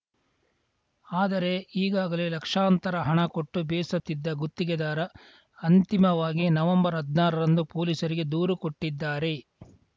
ಆದರೆ ಈಗಾಗಲೇ ಲಕ್ಷಾಂತರ ಹಣ ಕೊಟ್ಟು ಬೇಸತ್ತಿದ್ದ ಗುತ್ತಿಗೆದಾರ ಅಂತಿಮವಾಗಿ ನವಂಬರ್ಹದ್ನಾರರಂದು ಪೊಲೀಸರಿಗೆ ದೂರು ಕೊಟ್ಟಿದ್ದಾರೆ